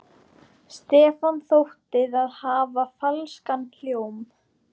Stefáni þótti það hafa falskan hljóm.